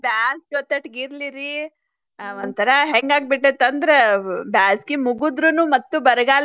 ಬ್ಯಾಸಗಿ ಒತಟೇ ಇರ್ಲಿರೀ ಅಹ್ ಒಂಥರಾ ಹೆಂಗ್ ಆಗಿಬಿಟ್ಟೆತಂದ್ರ ಬ್ಯಾಸಗಿ ಮುಗದ್ರನು ಮತ್ತು ಬರಗಾಲ